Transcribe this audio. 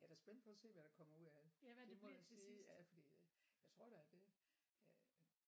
Jeg er da spændt på at se hvad der kommer ud af det det må jeg sige ja fordi jeg tror da det øh